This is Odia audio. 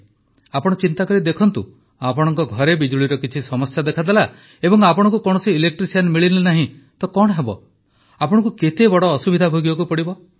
ଆପଣ ଚିନ୍ତା କରି ଦେଖନ୍ତୁ ଆପଣଙ୍କ ଘରେ ବିଜୁଳିରେ କିଛି ସମସ୍ୟା ଦେଖାଦେଲା ଏବଂ ଆପଣଙ୍କୁ କୌଣସି ଇଲେକ୍ଟ୍ରିସିଆନ୍ ମିଳିଲେ ନାହିଁ ତ କଣ ହେବ ଆପଣଙ୍କୁ କେତେ ବଡ ଅସୁବିଧା ଭୋଗିବାକୁ ହେବ